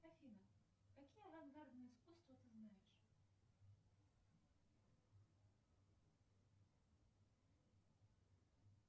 афина какие авангардные искусства ты знаешь